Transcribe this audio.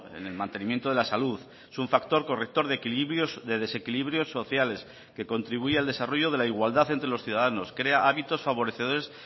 en el mantenimiento de la salud es un factor corrector de equilibrios de desequilibrios sociales que contribuye al desarrollo de la igualdad entre los ciudadanos crea hábitos favorecedores